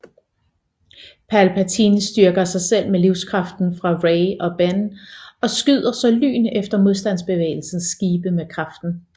Palpatine styrker sig selv med livskraften fra Rey og Ben og skyder så lyn efter Modstandsbevægelsens skibe med kraften